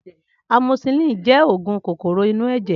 Amosisilin jẹ́ oògùn kòkòrò inú ẹ̀jẹ̀